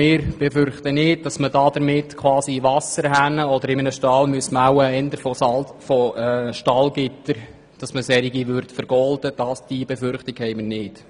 Wir befürchten nicht, dass man Wasserhähnen, oder vielleicht eher Stallgitter, vergolden will.